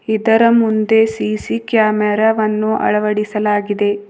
ಇದರ ಮುಂದೆ C C camera ವನ್ನು ಅಳವಡಿಸಲಾಗಿದೆ.